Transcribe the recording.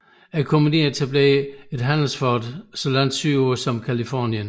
Kompagniet etablerede et handelsfort så langt sydpå som Californien